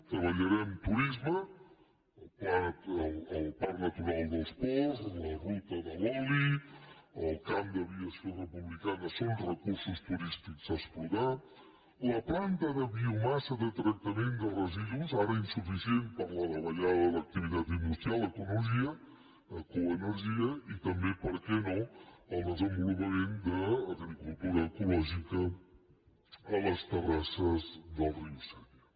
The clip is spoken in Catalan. treballarem turisme el parc natural dels ports la ruta de l’oli el camp d’aviació republicana són recursos turístics a explotar la planta de biomassa de tractament de residus ara insuficient per la davallada de l’activitat industrial ecoenergia i també per què no el desenvolupament d’agricultura ecològica a les terrasses del riu sénia